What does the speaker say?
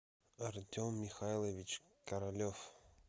артем михайлович королев